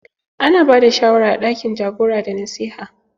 Ana bada shawara a ɗakin jagora da nasiha.